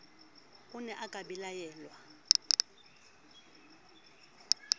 o ne a ka bellaellwa